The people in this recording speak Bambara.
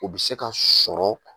U bi se ka sɔrɔ